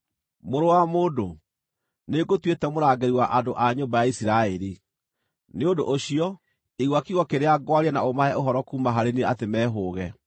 “Mũrũ wa mũndũ, nĩngũtuĩte mũrangĩri wa andũ a nyũmba ya Isiraeli; nĩ ũndũ ũcio, igua kiugo kĩrĩa ngwaria na ũmahe ũhoro kuuma harĩ niĩ atĩ mehũũge.